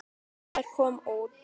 Maður kom út.